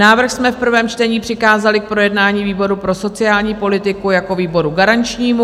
Návrh jsme v prvém čtení přikázali k projednání výboru pro sociální politiku jako výboru garančnímu.